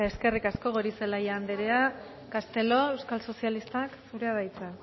eskerrik asko goirizelaia andrea castelo euskal sozialistak zurea da hitza